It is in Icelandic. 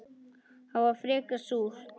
Það var frekar súrt.